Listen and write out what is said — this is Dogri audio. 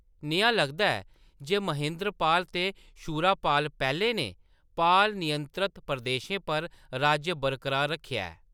नेहा लगदा ऐ जे महेन्द्रपाल ते शूरापाल पैह्‌ले ने पाल नियंत्रत प्रदेशें पर राज्य बरकरार रक्खेआ ऐ।